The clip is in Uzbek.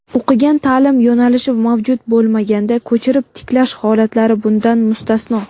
o‘qigan ta’lim yo‘nalishi mavjud bo‘lmaganda ko‘chirib tiklash holatlari bundan mustasno);.